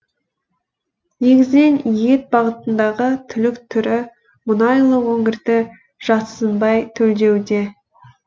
негізінен ет бағытындағы түлік түрі мұнайлы өңірді жатсынбай төлдеуде